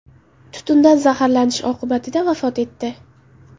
tutundan zaharlanish oqibatida vafot etdi.